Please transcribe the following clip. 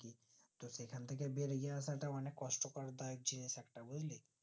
সেখান থেকে বেরিয়ে আসাটা অনিক কষ্ট কর বা যে একটা বুজলি